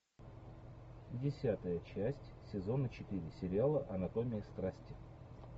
десятая часть сезона четыре сериала анатомия страсти